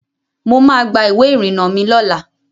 Mo ma gba ìwé ìrìnà mi lọ́la.